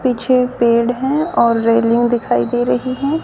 पीछे पेड़ हैं और रेलिंग दिखाई दे रही हैं।